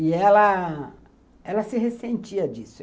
E ela se ressentia disso.